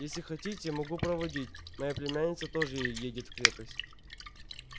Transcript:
если хотите могу проводить моя племянница тоже едет в крепость